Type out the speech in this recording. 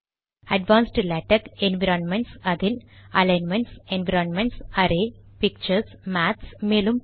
advanced LaTeX environments அதில் alignments environments array pictures maths